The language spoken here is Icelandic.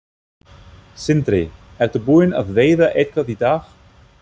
Sindri: Ertu búinn að veiða eitthvað í dag?